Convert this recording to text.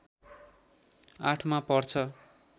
८ मा पर्छ